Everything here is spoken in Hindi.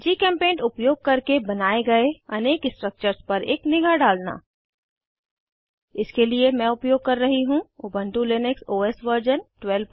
जीचेम्पेंट उपयोग करके बनाये गए अनेक स्ट्रक्चर्स पर एक निगाह डालना इसके लिए मैं उपयोग कर रही हूँ उबन्टु लिनक्स ओएस वर्जन 1204